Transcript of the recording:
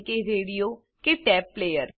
radio કે tape player